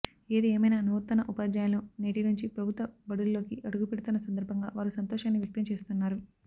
ఏదిఏమైనా నూతన ఉపాధ్యాయులు నేటి నుంచి ప్రభుత్వ బడుల్లోకి అడుగు పెడుతున్న సందర్భంగా వారు సంతోషాన్ని వ్యక్తం చేస్తున్నారు